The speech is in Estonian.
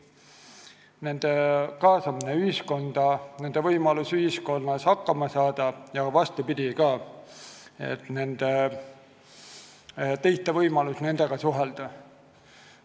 Neil peab olema võimalus olla kaasatud ühiskonda, ühiskonnas hakkama saada, ja vastupidi ka, teistel peab olema võimalus nendega suhelda.